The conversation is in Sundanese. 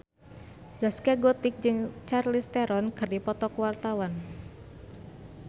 Zaskia Gotik jeung Charlize Theron keur dipoto ku wartawan